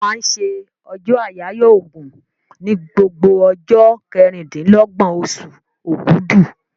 Wọ́n máa ń se ọjọ́ àyáyọ́ ògùn ní gbogbo ọjọ́ kẹrìndínlọ́gbọ̀n osù ògudù